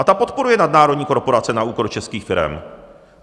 A ta podporuje nadnárodní korporace na úkor českých firem.